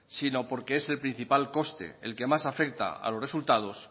sino porque es el principal coste el que más afecta a los resultados